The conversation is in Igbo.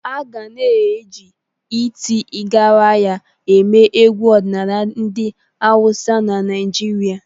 Aga na eji iti Garaya eme egwu ọdịnala ndị awusa na Naịjirịa.